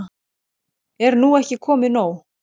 Er nú ekki komið nóg?